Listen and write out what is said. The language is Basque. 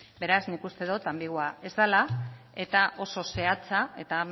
beraz nik uste dut anbiguoa ez dela eta oso zehatza eta